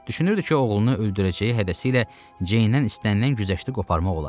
Düşünürdü ki, oğlunu öldürəcəyi hədəsiylə Ceyndən istənilən güzəşti qoparmaq olar.